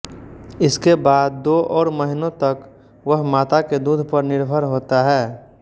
इसके बाद दो और महीनों तक वह माता के दूध पर निर्भर होता है